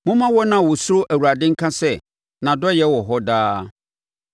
Momma wɔn a wɔsuro Awurade nka sɛ, “Nʼadɔeɛ wɔ hɔ daa.”